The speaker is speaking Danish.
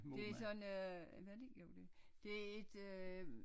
Det sådan noget øh var det ikke jo det det et øh